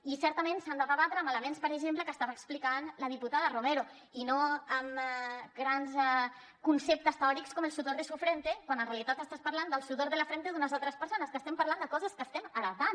i certament s’ha de debatre amb elements com per exemple els que estava explicant la diputada romero i no amb grans conceptes teòrics com el sudor de su frente quan en realitat estàs parlant del sudor de la frente d’unes altres persones que estem parlant de coses que estem heretant